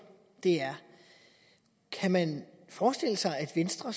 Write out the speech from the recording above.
det er kan man forestille sig at venstre